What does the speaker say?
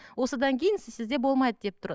осыдан кейін сізде болмайды деп тұр